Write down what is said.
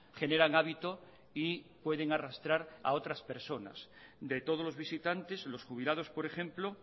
generan hábito y pueden arrastrar a otras personas a otras personas de todos los visitantes los jubilados por ejemplo